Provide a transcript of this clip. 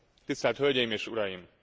Tisztelt Hölgyeim és Uraim!